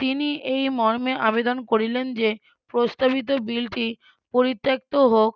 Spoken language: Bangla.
তিনি এই মর্মে আবেদন করিলেন যে প্রস্তাবিত বিলটি পরিত্যক্ত হোক